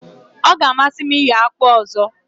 O ga amasi m iyo akpụ ọzọ.